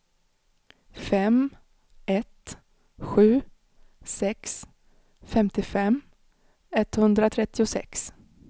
fem ett sju sex femtiofem etthundratrettiosex